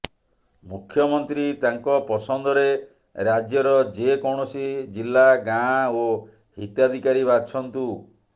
ମୁଖ୍ୟମନ୍ତ୍ରୀ ତାଙ୍କ ପସନ୍ଦରେ ରାଜ୍ୟର ଯେ କୌଣସି ଜିଲ୍ଲା ଗାଁ ଓ ହିତାଧିକାରୀ ବାଛନ୍ତୁ